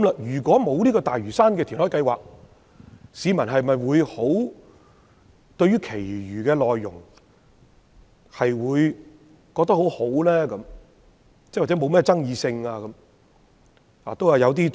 如果沒有大嶼山填海計劃，市民會否認為施政報告其餘的內容可取或不具爭議性？